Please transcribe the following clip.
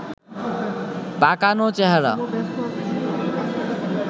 পাকানো চেহারা